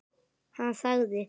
Hann þagði.